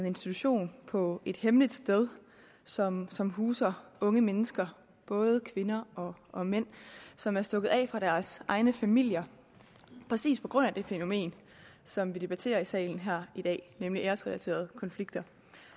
institution på et hemmeligt sted som som huser unge mennesker både kvinder og og mænd som er stukket af fra deres egne familier præcis på grund af det fænomen som vi debatterer i salen her i dag nemlig æresrelaterede konflikter